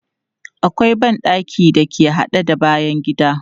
Akwai ban ɗakin da ke haɗe da bayan gida.